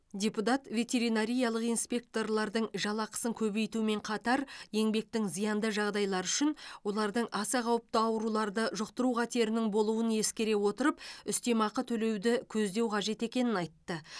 депутат ветеринариялық инспекторлардың жалақысын көбейтумен қатар еңбектің зиянды жағдайлары үшін олардың аса қауіпті ауруларды жұқтыру қатерінің болуын ескере отырып үстемеақы төлеуді көздеу қажет екенін айтты